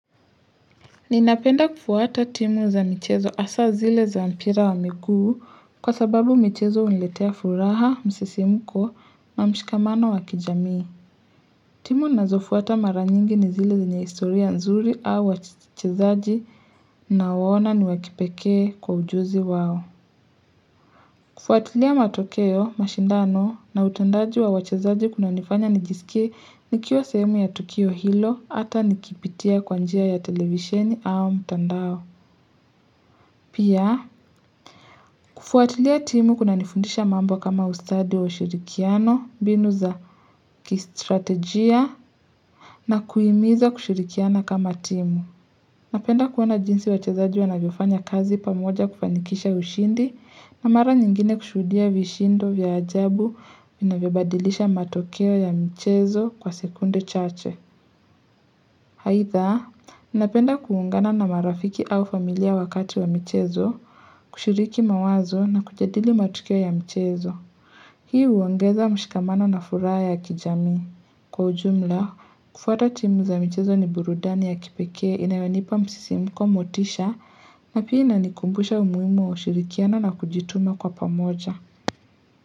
Ninapenda kufuata timu za michezo hasa zile za mpira wa miguu kwa sababu michezo huniletea furaha, msisimuko, na mshikamano wakijamii. Timu ninazofuata mara nyingi ni zile zenye historia nzuri au wachezaji na waona ni wakipekee kwa ujuzi wao. Kufuatilia matokeo, mashindano na utendaji wa wachezaji kuna nifanya nijisikie nikiwa sehemu ya tukio hilo hata nikipitia kwanjia ya televisheni au mtandao. Pia, kufuatilia timu kuna nifundisha mambo kama ustadi wa ushirikiano, mbinu za kistrategia, na kuhimiza kushirikiana kama timu. Napenda kuona jinsi wachezaji wanavyofanya kazi pamoja kufanikisha ushindi na mara nyingine kushuhudia vishindo vya ajabu vinavyobadilisha matokeo ya mchezo kwa sekunde chache. Haidha, ninapenda kuungana na marafiki au familia wakati wa michezo, kushiriki mawazo na kujadili matukio ya mchezo. Hii huongeza mshikamano na furaha ya kijami. Kwa ujumla, kufuata timu za michezo ni burudani ya kipekee inayonipa msisimuko motisha na pia inanikumbusha umuhimu wa ushirikiano na kujituma kwa pamoja.